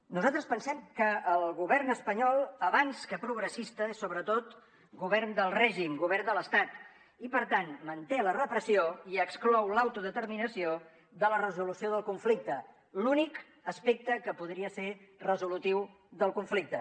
nosaltres pensem que el govern espanyol abans que progressista és sobretot govern del règim govern de l’estat i per tant manté la repressió i exclou l’autodeterminació de la resolució del conflicte l’únic aspecte que podria ser resolutiu del conflicte